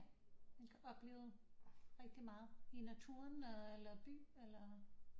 Man kan opleve rigtig meget i naturen eller by eller